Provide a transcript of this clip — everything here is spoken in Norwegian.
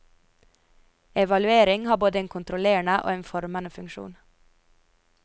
Evaluering har både en kontrollerende og en formende funksjon.